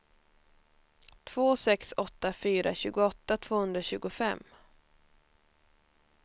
två sex åtta fyra tjugoåtta tvåhundratjugofem